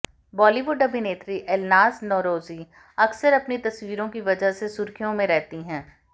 बॉलीवुड अभिनेत्री एलनाज़ नौरोजी अक्सर अपनी तस्वीरों की वजह से सुर्खियों में रहती हैं